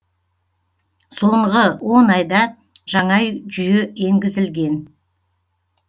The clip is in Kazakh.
соңғы он айда жаңа жүйе енгізілген